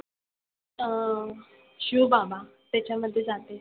अं शिवबाबा त्याच्यामध्ये जाते.